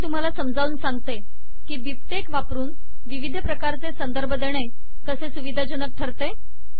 आता मी तुम्हाला समजावून सांगते की बिबटेक्स वापरुन विविध प्रकारचे संदर्भ देणे तसे सुविदजनक ठरते